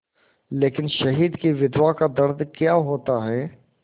लेकिन शहीद की विधवा का दर्द क्या होता है